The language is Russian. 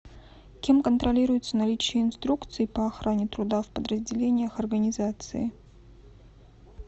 кем контролируется наличие инструкций по охране труда в подразделениях организации